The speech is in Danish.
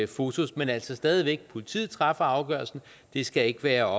fotos men altså stadig væk politiet træffer afgørelsen det skal ikke være